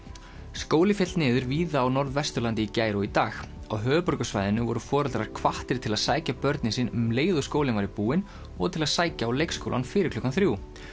skóli féll niður víða á Norðvesturlandi í gær og í dag á höfuðborgarsvæðinu voru foreldrar hvattir til að sækja börnin sín um leið og skólinn væri búinn og til að sækja á leikskóla fyrir klukkan þrjú